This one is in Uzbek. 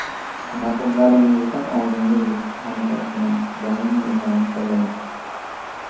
Raqiblaringizdan oldinda yurishga harakat qiling, doimiy izlanishda bo‘ling.